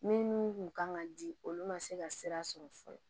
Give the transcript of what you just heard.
Minnu kun kan ka di olu ma se ka sira sɔrɔ fɔlɔ